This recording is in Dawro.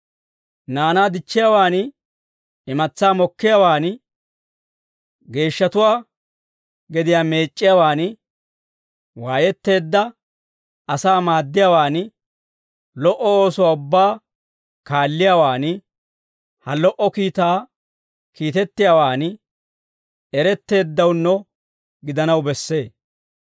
Naanaa dichchiyaawan, imatsaa mokkiyaawaan, geeshshatuwaa gediyaa meec'c'iyaawaan, waayetteedda asaa maaddiyaawaan, lo"o oosuwaa ubbaa kaalliyaawan, ha lo"o kiitaa kiitettiyaawaan eretteeddawunno gidanaw bessee.